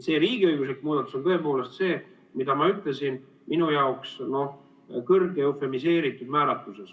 See riigiõiguslik muudatus on tõepoolest see, mida ma ütlesin, minu jaoks kõrgelt eufemiseeritud määratluses.